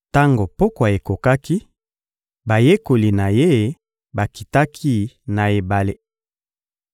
Tango pokwa ekomaki, bayekoli na Ye bakitaki na ebale